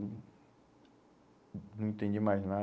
Não não entendi mais